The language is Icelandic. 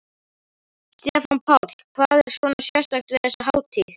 Stefán Páll: Hvað er svona sérstakt við þessa hátíð?